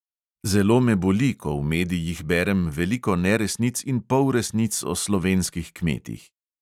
Zelo me boli, ko v medijih berem veliko neresnic in polresnic o slovenskih kmetih.